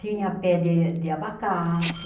Tinha pé de de abacate,